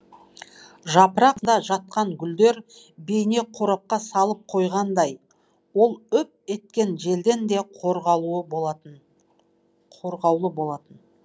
жапырақта жатқан гүлдер бейне қорапқа салып қойғандай ол үп еткен желден де қорғаулы болатын